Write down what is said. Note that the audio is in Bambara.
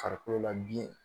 Farikolo la biɲɛ